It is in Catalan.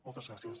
moltes gràcies